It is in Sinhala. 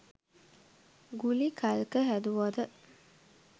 ගුලි කල්ක හැදුවද